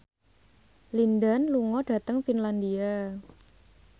Lin Dan lunga dhateng Finlandia